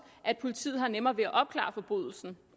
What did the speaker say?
at politiet har nemmere ved at opklare forbrydelsen